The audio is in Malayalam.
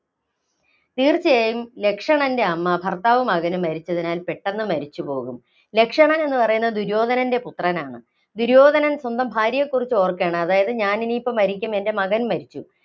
തീര്‍ച്ചയായും ലക്ഷണന്‍റെ അമ്മ ഭര്‍ത്താവും മകനും മരിച്ചതിനാല്‍ പെട്ടെന്ന് മരിച്ചുപോകും. ലക്ഷണൻ എന്ന് പറയുന്നത് ദുര്യോധനന്‍റെ പുത്രനാണ്. ദുര്യോധനൻ സ്വന്തം ഭാര്യയെക്കുറിച്ച് ഓര്‍ക്കയാണ്. അതായത് ഞാന്‍ ഇനിയിപ്പം മരിക്കും. എന്‍റെ മകന്‍ മരിച്ചു.